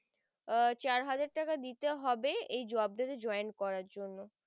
আহ চার হাজার টাকা দিতে হবে এই জব তাতে join করার জন্যে